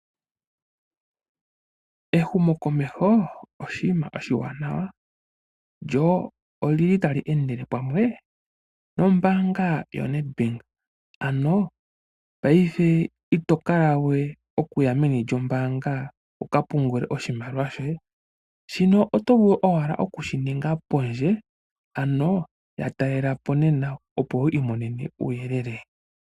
Ehumokomeho oshinima oshiwanawa, lyo oli li ta li endele pamwe nombaanga yo Nadbank. Ano paife omuntu ito kala we ho yi meni lyombaanga wu ka pungule oshimaliwa shoye, shino oto vulu oku shi ninga pondje, ano ya talelapo nena opo wi imonene uuyelele.